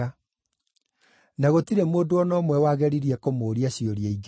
Na gũtirĩ mũndũ o na ũmwe wageririe kũmũũria ciũria ingĩ.